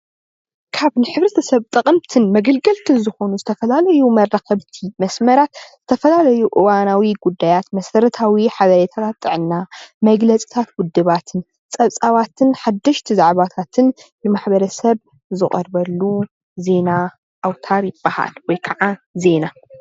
ካብ ንሕብረተሰብ ጠቀምትን መገልገልትን ዝኮኑ ዝተፈላለዩ መራከቢታት መስመራት ዝተፈላለዩ እዋናዊ ጉዳያት መሰረታዊ ሓበሬታታት ጥዕና መግለፅታት ውድባት ፀብፃባትን ሓደሽቲ ዛዕባታትን ንማሕበረሰብ ዝቀርበሉ ዜና ኣውታር ይብሃል ወይ ከዓ ዜና